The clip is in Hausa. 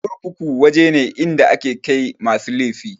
Kurkuku waje ne inda ake kai masu laifi.